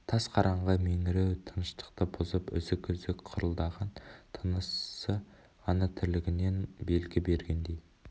тас қараңғы меңіреу тыныштықты бұзып үзік-үзік қырылдаған тынысы ғана тірлігінен белгі бергендей